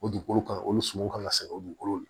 O dugukolo kan o suman kan ka sɛgɛn o dugukolo la